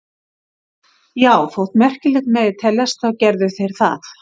Já, þótt merkilegt megi teljast þá gerðu þeir það.